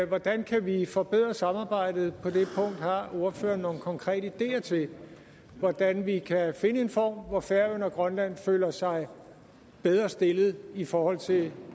hvordan kan vi forbedre samarbejdet på det punkt har ordføreren nogle konkrete ideer til hvordan vi kan finde en form hvor færøerne og grønland føler sig bedre stillet i forhold til